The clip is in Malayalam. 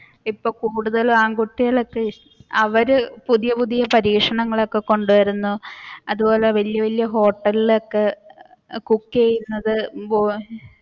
ഇപ്പൊ കൂടുതൽ ആൺകുട്ടികൾ ഒക്കെ അവർ പുതിയ പുതിയ പരീക്ഷണങ്ങൾ ഒക്കെ കൊണ്ടുവരുന്നു അതുപോലെ വലിയ വലിയ ഹോട്ടലിൽ ഒക്കെ cook ചെയ്യുന്നത്.